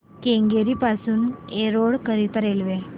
केंगेरी पासून एरोड करीता रेल्वे